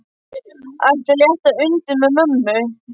Ætli að létta undir með mömmu.